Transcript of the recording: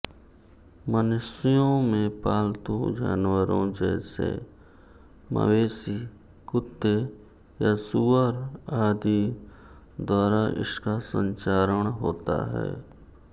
मनुष्यों में पालतू जानवरों जैसे मवेशी कुत्ते या सूअर आदि द्वारा इसका संचारण होता है